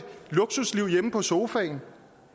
luksusliv hjemme på sofaen